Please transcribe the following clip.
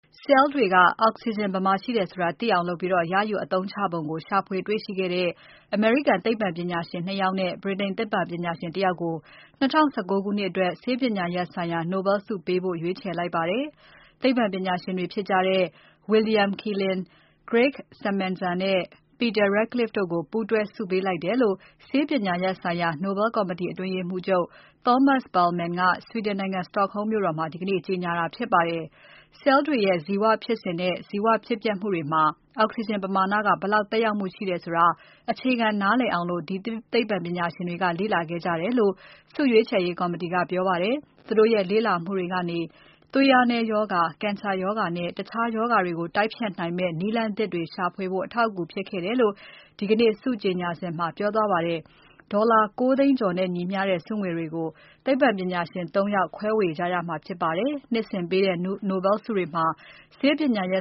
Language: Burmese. ဆဲလ်တွေက အောက်စီဂျင် ဘယ်မှာရှိတယ်ဆိုတာ သိအောင်လုပ်ပြီး ရယူအသုံးချပုံကို ရှာဖွေတွေ့ရှိခဲ့တဲ့ အမေရိကန်သိပ္ပံပညာရှင် နှစ် ယောက်နဲ့ ဗြိတိန်သိပ္ပံပညာရှင် တ ယောက်ကို ၂၀၁၉ ခုနှစ်အတွက် ဆေးပညာရပ်ဆိုင်ရာ Nobel ဆုပေးဖို့ ရွေးချယ်လိုက်ပါတယ်။ သိပ္ပံပညာရှင်တွေဖြစ်တဲ့ William Kaelin, Gregg Semenza နဲ့ Peter Ratcliffe တို့ကို ပူးတွဲဆုပေးလိုက်တယ်လို့ ဆေးပညာရပ်ဆိုင်ရာ Nobel ကော်မတီ အတွင်းရေးမှူးချုပ် Thomas Perlmann က Sweden နိုင်ငံ Stockholm မြို့တော်မှာ ဒီကနေ့ ကြေငြာတာဖြစ်ပါတယ်။ ဆဲလ်တွေရဲ့ ဇီဝဖြစ်စဉ်နဲ့ ဇီဝဖြစ်ပျက်မှုတွေမှာ အောက်စီဂျင်ပမာဏက ဘယ်လောက် သက်ရောက်မှုရှိတယ်ဆိုတာ အခြေခံနားလည်အောင် ဒီသိပ္ပံပညာရှင်တွေက လေ့လာခဲ့ကြတယ်လို့ ဆုရွေးချယ်ရေးကော်မတီက ပြောပါတယ်။ သူတို့ရဲ့ လေ့လာမှုတွေကနေ သွေးအားနည်းရောဂါ၊ ကင်ဆာရောဂါနဲ့ တခြားရောဂါတွေကို တိုက်ဖျက်နိုင်မယ့် နည်းလမ်းသစ်တွေရှာဖွေဖို့ အထောက်အကူဖြစ်ခဲ့တယ်လို့ဒီကနေ့ ဆုကြေငြာစဉ်မှာ ပြောကြားသွားပါတယ်။ ဒေါ်လာ ၉ သိန်းကျော်နဲ့ညီမျှတဲ့ ဆုငွေတွေကို သိပ္ပံပညာရှင် ၃ ယောက် ခွဲဝေရကြမှာဖြစ်ပါတယ်။ နှစ်စဉ်ပေးတဲ့ Nobel ဆုတွေမှာ ဆေးပညာရ